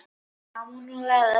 Emanúela, spilaðu lag.